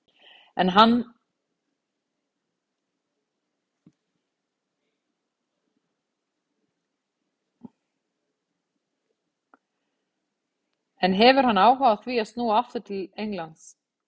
En hefur hann áhuga á því að snúa aftur til Englands?